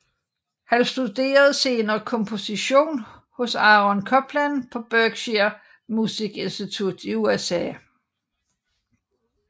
Han studerede senere komposition hos Aaron Copland på Berkshire Musik Institut i USA